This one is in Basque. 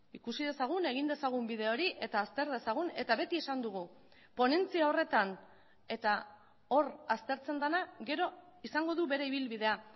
ikusi dezagun egin dezagun bide hori eta azter dezagun eta beti esan dugu ponentzia horretan eta hor aztertzen dena gero izango du bere ibilbidea